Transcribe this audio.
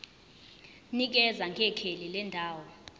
nikeza ngekheli lendawo